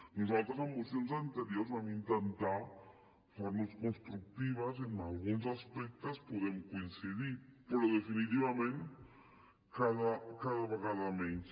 nosaltres en mocions anteriors vam intentar posar nos constructives i en alguns aspectes podem coincidir però definitivament cada vegada menys